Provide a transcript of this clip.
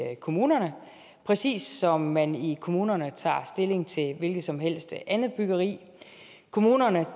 kommunerne præcis som man i kommunerne tager stilling til et hvilket som helst andet byggeri kommunerne